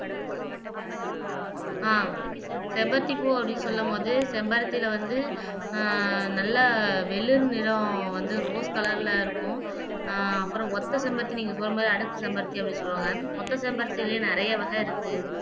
ஆஹ் செம்பருத்தி பூ அப்படின்னு சொல்லும் போது செம்பருத்தியில வந்து ஆஹ் நல்லா வெளிர் நிறம் வந்து ரோஸ் கலர்ல இருக்கும் ஆஹ் அப்புறம் ஒத்த செம்பருத்தி நீங்க சொன்ன மாதிரி அடுக்கு செம்பருத்தி அப்படின்னு சொல்லுவாங்க ஒத்த செம்பருத்தியிலையும் நிறைய வகை இருக்கு